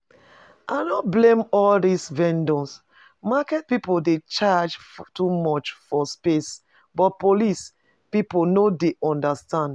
I no blame all dis vendors, market people dey charge too much for space but police people no dey understand